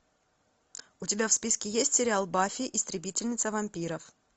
у тебя в списке есть сериал баффи истребительница вампиров